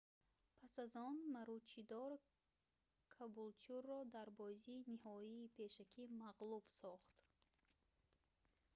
пас аз он маручидор кабултюрро дар бозии ниҳоии пешакӣ мағлуб сохт